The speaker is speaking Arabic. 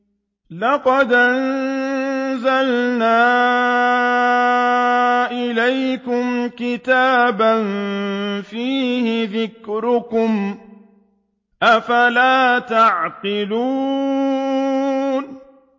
لَقَدْ أَنزَلْنَا إِلَيْكُمْ كِتَابًا فِيهِ ذِكْرُكُمْ ۖ أَفَلَا تَعْقِلُونَ